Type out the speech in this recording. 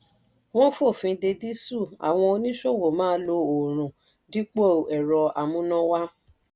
wọ́n fòfin de dísù àwọn oníṣòwò máa lo oòrùn dípò ẹ̀rọ amúnáwá.